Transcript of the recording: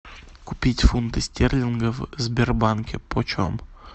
купить фунты стерлингов в сбербанке почем